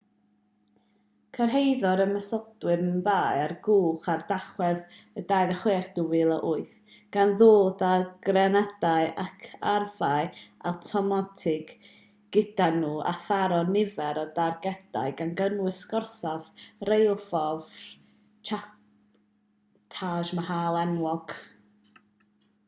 cyrhaeddodd ymosodwyr mumbai ar gwch ar dachwedd 26 2008 gan ddod â grenadau ac arfau awtomatig gyda nhw a tharo nifer o dargedau gan gynnwys gorsaf rheilffordd chhatrapati shivaji terminus a'r gwesty taj mahal enwog